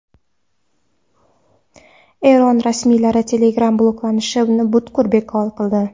Eron rasmiylari Telegram bloklanishini butkul bekor qildi.